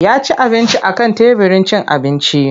Ya ci abinci a kan teburin cin abinci.